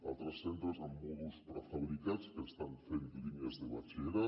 altres centres amb mòduls prefabricats que estan fent línies de batxillerat